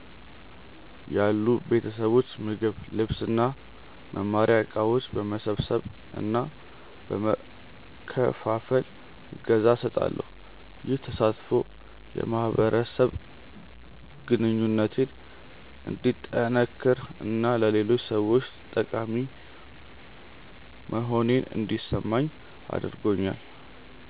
ያሉ ቤተሰቦች ምግብ፣ ልብስ እና መማሪያ እቃዎች በመሰብሰብ እና በመከፋፈል እገዛ እሰጣለሁ። ይህ ተሳትፎ የማህበረሰብ ግንኙነቴን እንዲጠነክር እና ለሌሎች ሰዎች ጠቃሚ መሆኔን እንዲሰማኝ አድርጎኛል።